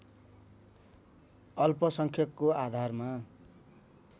अल्पसंख्यकको आधारमा